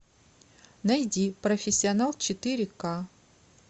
найди профессионал четыре ка